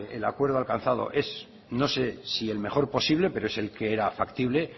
que el acuerdo alcanzado es no sé si el mejor posible pero es el que era factible